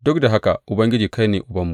Duk da haka, Ubangiji, kai ne Ubanmu.